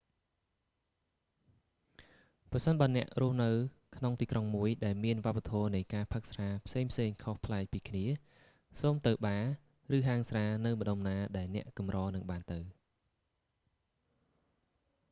ប្រសិនបើអ្នករស់នៅក្នុងទីក្រុងមួយ ដែលមានវប្បធម៌នៃការផឹកស្រាផ្សេងៗខុសប្លែកពីគ្នា សូមទៅបារ ឬហាងស្រានៅម្តុំណាដែលអ្នកកម្រនឹងបានទៅ